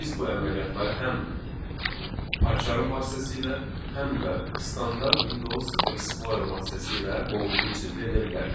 Biz bu əməliyyatları həm Pycharmın vasitəsilə, həm də standart Windows Explorer vasitəsilə qovluğun içində edə bilərik.